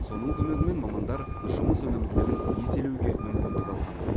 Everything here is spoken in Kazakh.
соның көмегімен мамандар жұмыс өнімділігін еселеуге мүмкіндік алған